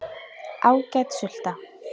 Ágæt sulta.